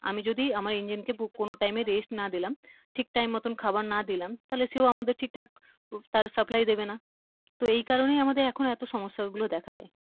আমি যদি আমার engine কে কোনো time এ rest না দিলাম ঠিক time মত খাবার না দিলাম তাহলে সেও আমাদেরকে ঠিক থাক তার supply দেবে না তো এই কারনেই আমদের এখন এতো সমস্যা দেখা দেয়।